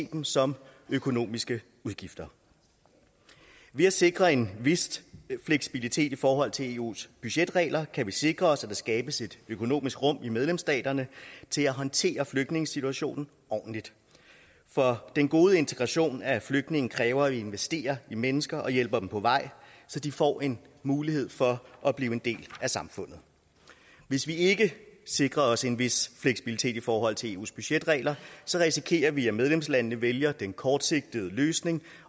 dem som økonomiske udgifter ved at sikre en vis fleksibilitet i forhold til eus budgetregler kan vi sikre os at der skabes et økonomisk råderum i medlemsstaterne til at håndtere flygtningesituationen ordentligt for den gode integration af flygtninge kræver at vi investerer i mennesker og hjælper dem på vej så de får en mulighed for at blive en del af samfundet hvis vi ikke sikrer os en vis fleksibilitet i forhold til eus budgetregler risikerer vi at medlemslandene vælger den kortsigtede løsning